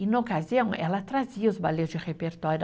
E, na ocasião, ela trazia os balés de repertório.